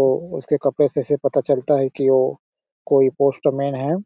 और उसके कपड़े से ऐसे पता चलता है की वो कोई पोस्टमैन है।